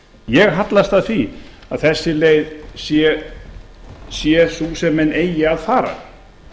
ég hallast að því að þessi leið sé sú sem menn eigi að fara